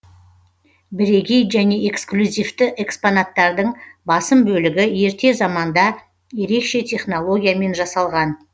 бірегей және эксклюзивті экспонаттардың басым бөлігі ерте заманда ерекше технологиямен жасалған